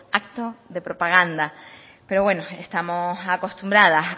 acto de propaganda pero bueno estamos acostumbradas